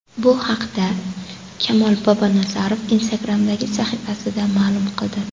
Bu haqda Kamol Bobonazarov Instagram’dagi sahifasida ma’lum qildi .